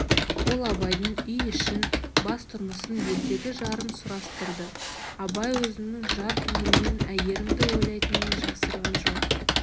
ол абайдың үй-ішін бас-тұрмысын елдегі жарын сұрастырды абай өзінің жар көңілімен әйгерімді ойлайтынын жасырған жоқ